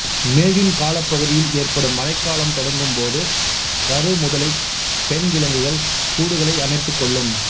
மேயூன் காலப் பகுதியில் ஏற்படும் மழைக் காலம் தொடங்கும்போது கருமுதலைப் பெண் விலங்குகள் கூடுகளை அமைத்துக்கொள்ளும்